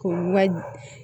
K'o ka